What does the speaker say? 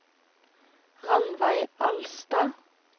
Ranveig Alstad